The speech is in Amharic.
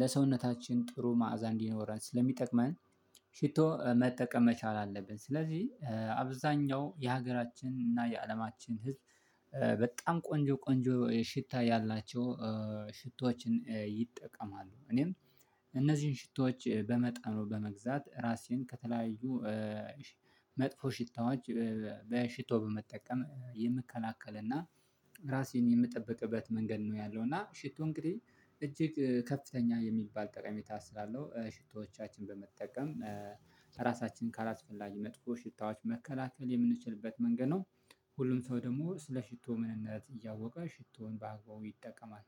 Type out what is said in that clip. ለሰውነታችን ጥሩ መዓዛ እንዲኖረን ስለሚጠቅመን ሽቶ መጠቀም መቻል አለብን ስለዚህ አብዛኛው የሀገራችን እና የአለማችን ህዝብ በጣም ቆንጆ ቆንጆ ሽታ ያላቸው ሽቶዎችን ይጠቀማሉ። እኔም እነዚህን ሽቶዎች በመጣ ነው በመግዛት ራሴን ከተለያዩ መጥፎ ሽታዎች በሽቶ በመጠቀም የምከላከል እና ራሴን የምጠብቅበት መንገድ ነው ያለው እና ሽቶ እንግዲህ እጅግ ከፍተኛ የሚባል ጠቀሜታ ስላለው ሽቶዎቻችን በመጠቀም ራሳችንን ካላስፈላጊ መጥኮ ሽታዎች መከላከል የምንችልበት መንገድ ነው። ሁሉም ሰው ደግሞ ስለ ሽቶ ምንነት እያወቀ ሽቶውን በአግባቡ ይጠቀማል።